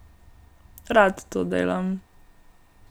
Rad to delam.